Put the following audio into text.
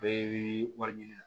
Bɛɛ bi wari ɲini